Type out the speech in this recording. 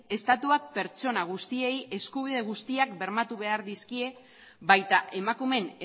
estatuak pertsona guztiei eskubide guztiak bermatu behar dizkie baita emakumeen